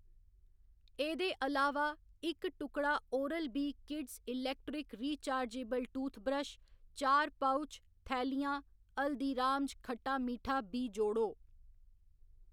एह्‌‌‌दे अलावा, इक टुकड़ा Oral B kids electric rechargeable toothbrush, चार पउच, थैलियां हल्दीराम्ज खट्टा मिट्ठा बी जोड़ो।